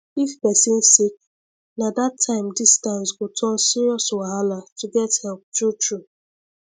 if person sick na that time distance go turn serious wahala to get help truetrue